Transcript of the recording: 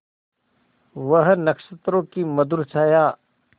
वह नक्षत्रों की मधुर छाया